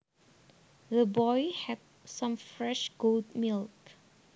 The boy had some fresh goat milk